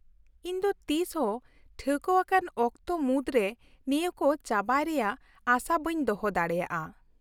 -ᱤᱧ ᱫᱚ ᱛᱤᱥ ᱦᱚᱸ ᱴᱷᱟᱹᱣᱠᱟᱹᱣᱟᱠᱟᱱ ᱚᱠᱛᱚ ᱢᱩᱫᱨᱮ ᱱᱤᱭᱟᱹ ᱠᱚ ᱪᱟᱵᱟᱭ ᱨᱮᱭᱟᱜ ᱟᱥᱟ ᱵᱟᱹᱧ ᱫᱚᱦᱚ ᱫᱟᱲᱮᱭᱟᱜᱼᱟ ᱾